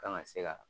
Kan ka se ka